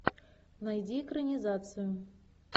найди экранизацию